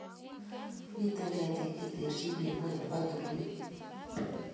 Mitei ketik che terchin eng ngwony nebo tulwet